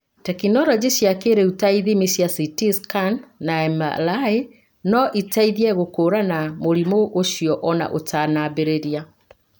Tekinoronjĩ cia kĩĩrĩu ta ithimi cia CT scan na MRI no iteithie gũkũũrana mũrimũ ũcio o na ũtanambĩrĩria.